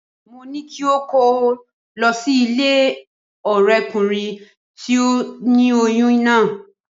Mo ní kí o kó lọ sí ilé ọ̀rẹ́kùnrin tó ni oyún náà